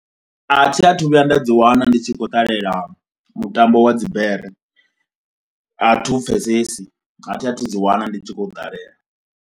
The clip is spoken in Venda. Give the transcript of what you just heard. A thi athu vhuya nda dzi wana ndi tshi khou ṱalela mutambo wa dzibere athi u pfhesesi, a thi a thu ḓi wana ndi tshi khou ṱalela.